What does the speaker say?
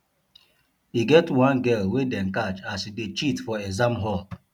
e get one girl wey dey catch as she dey cheat for exam hall